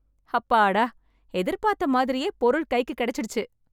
அப்பாடா எதிர்பார்த்த மாதிரியே பொருள் கைக்கு கிடைச்சிடுச்சு